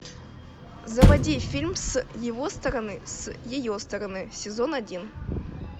заводи фильм с его стороны с ее стороны сезон один